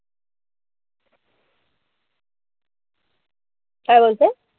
काय बोलतेय?